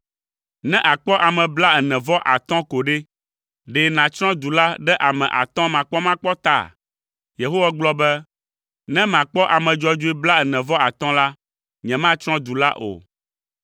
Ne àkpɔ ame blaene-vɔ-atɔ̃ ko ɖe, ɖe nàtsrɔ̃ du la ɖe ame atɔ̃ makpɔmakpɔ ta?” Yehowa gblɔ be, “Ne makpɔ ame dzɔdzɔe blaene-vɔ-atɔ̃ la, nyematsrɔ̃ du la o.”